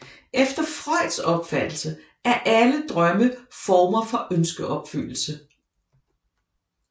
Efter Freuds opfattelse er alle drømme former for ønskeopfyldelse